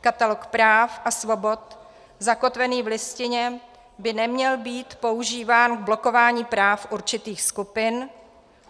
Katalog práv a svobod zakotvený v Listině by neměl být používán k blokování práv určitých skupin.